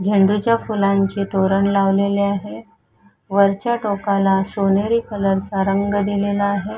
झेंडूच्या फुलांचे तोरण लावलेले आहे वरच्या टोकाला सोनेरी कलर चा रंग दिलेला आहे.